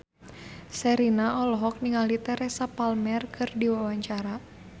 Sherina olohok ningali Teresa Palmer keur diwawancara